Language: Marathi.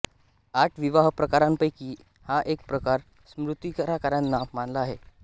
आठ विवाहप्रकारांपैकी हा एक प्रकार स्मृतिकारांनी मानला आहे